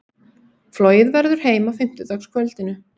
Flogið verður heim á fimmtudagskvöldinu.